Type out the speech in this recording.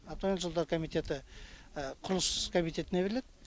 автомобиль жолдары комитеті құрылыс комитетіне беріледі